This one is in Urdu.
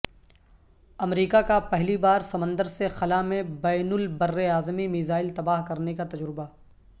امریکہ کا پہلی بار سمندر سے خلا میں بین البراعظمی میزائل تباہ کرنے کا تجربہ